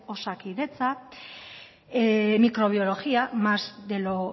osakidetza microbiología más de lo